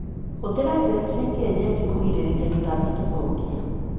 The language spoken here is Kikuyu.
Hũthira njĩra cia kienyeji kũgirĩrĩria tũtambi tũthukia.